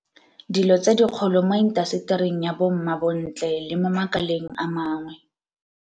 Dilo tse dikgolo mo intasetering ya bommabontle le mo makaleng a mangwe.